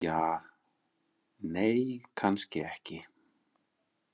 Ja, nei, kannski ekki.